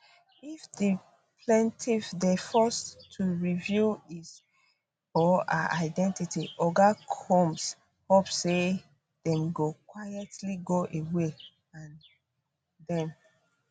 if di plaintiff dey forced to reveal his or her identity oga combs hope say dem go quietly go away and dem